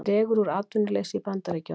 Dregur úr atvinnuleysi í Bandaríkjunum